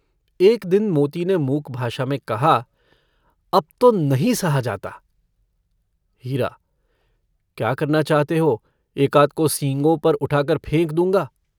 एक दिन मोती ने मूक भाषा में कहा - अब तो नहीं सहा जाता। हीरा - क्या करना चाहते हो? एकाध को सींगों पर उठाकर फेंक दूंगा।